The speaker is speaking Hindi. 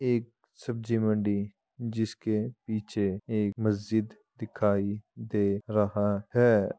एक सब्जी मंडी जिसके पीछे एक मस्जिद दिखाई दे रहा है।